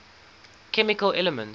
chemical elements